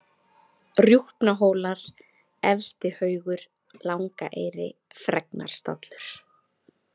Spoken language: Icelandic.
Rjúpnahólar, Efsti-Haugur, Langaeyri, Fregnarstallur